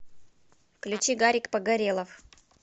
включи гарик погорелов